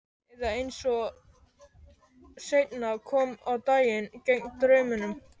Eða, eins og seinna kom á daginn, gegn draumunum.